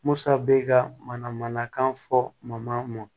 Musa bɛ ka mana manakan fɔ ma mɔn